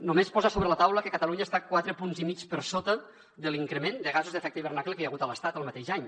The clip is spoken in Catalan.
només posar sobre la taula que catalunya està quatre punts i mig per sota de l’increment de gasos d’efecte hivernacle que hi ha hagut a l’estat el mateix any